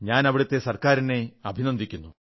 ഞാൻ അവിടത്തെ ഗവൺമെന്റിനെ അഭിനന്ദിക്കുന്നു